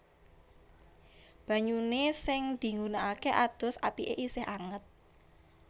Banyune sing digunakake adus apike isih anget